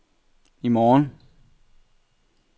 i morgen